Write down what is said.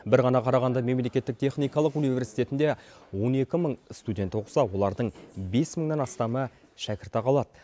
бір ғана қарағанды мемлекеттік техникалық университетінде он екі мың студент оқыса олардың бес мыңнан астамы шәкіртақы алады